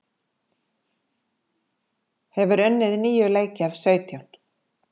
Hefur unnið níu leiki af sautján